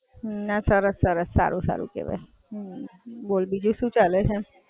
ના સરસ, સરસ, સારું કેહવાય. બોલ બીજું શું ચાલે છે?